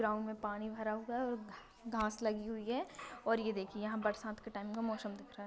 Ground मे पानी भरा हुआ है और घ घास लगी हुई हैं और ये देखिये यहाँ बरसात टाइम का पानी क मौसम दिखा रहा है।